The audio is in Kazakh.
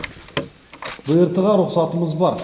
брт ға рұқсатымыз бар